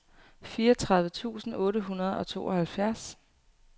fireogtredive tusind otte hundrede og tooghalvfjerds